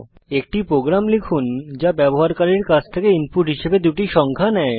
একটি প্রোগ্রাম লিখুন যা ব্যবহারকারীর কাছ থেকে ইনপুট হিসেবে দুটি সংখ্যা নেয়